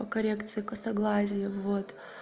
коррекция косоглазия вот